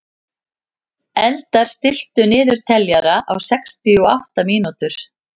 Eldar, stilltu niðurteljara á sextíu og átta mínútur.